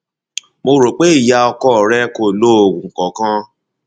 mo rò pé ìyá ọkọ rẹ kò lo oògùn kankan